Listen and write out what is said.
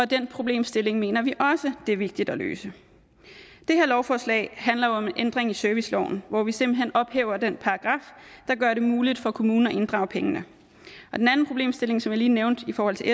den problemstilling mener vi også er vigtig at løse det her lovforslag handler jo om en ændring i serviceloven hvor vi simpelt hen ophæver den paragraf der gør det muligt for kommuner at inddrage pengene den anden problemstilling som jeg lige nævnte i forhold til